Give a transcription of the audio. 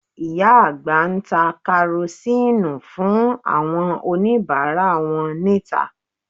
Ìyá àgbà ń ta Karosíìnù fún àwọn oníbàárà wọn níta